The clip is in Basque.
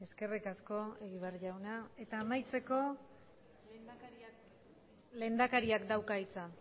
eskerrik asko egibar jauna eta amaitzeko lehendakariak dauka hitza